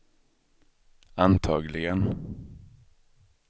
antagligen